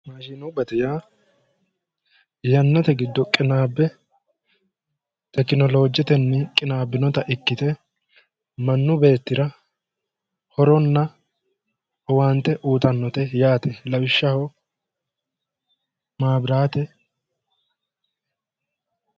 Maashshinubbate yaa yannatenni qinaabbe tekinolojetenni qinaabbinota ikkite mannu beettira horona owaante uyitannote yaate lawishshaho mabiraate.